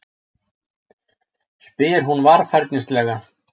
spyr hún varfærnislega.